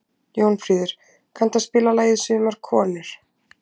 Jónfríður, kanntu að spila lagið „Sumar konur“?